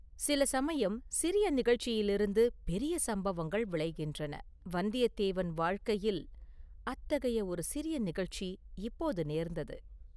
சில சமயம் சிறிய நிகழ்ச்சியிலிருந்து பெரிய சம்பவங்கள் விளைகின்றன.வந்தியத்தேவன் வாழ்க்கையில் அத்தகைய ஒரு சிறிய நிகழ்ச்சி இப்போது நேர்ந்தது.